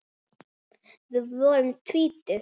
Við vorum tvítug.